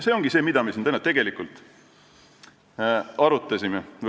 See ongi see, mida me siin täna tegelikult arutame.